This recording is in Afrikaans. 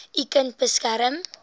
u kind beskerm